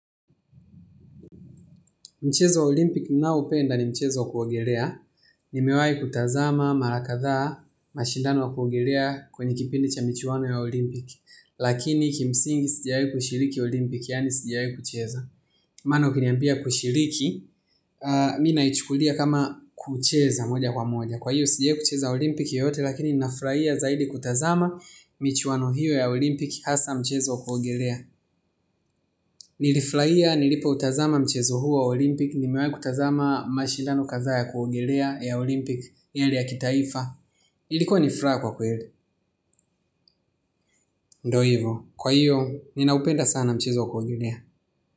Mchezo wa Olimpiki ninaoupenda ni mchezo wa kuogelea. Nimewahi kutazama mara kadhaa mashindano ya kuogelea kwenye kipindi cha michuano ya Olimpiki. Lakini kimsingi sijawahi kushiriki olimpiki, yaani sijawahi kucheza. Maana ukiniambia kushiriki, ninaichukulia kama kucheza moja kwa moja. Kwa hiyo sijawahi kucheza Olimpiki yoyote, lakini ninafurahia zaidi kutazama michuano hiyo ya Olimpiki, hasa mchezo wa kuogelea. Nilifurahia nilipoutazama mchezo huo wa olimpiki. Nimewahi kutazama mashindano kadha ya kuogelea ya Olimpiki yale ya kitaifa. Ilikuwa ni furaha kwa kweli. Ndivyo hivyo, kwa hiyo, ninaupenda sana mchezo wa kuogelea.